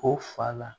O fa la